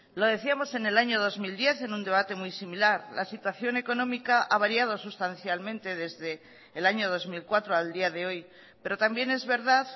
lo decíamos en el año dos mil diez en un debate muy similar la situación económica ha variado sustancialmente desde el año dos mil cuatro al día de hoy pero también es verdad